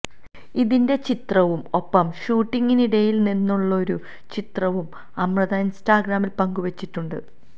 ഇതിന്റെ ചിത്രവും ഒപ്പം ഷൂട്ടിങ്ങിനിടിയില് നിന്നുള്ളൊരു ചിത്രവും അമൃത ഇന്സ്റ്റഗ്രാമില് പങ്കുവെച്ചിട്ടുണ്ട്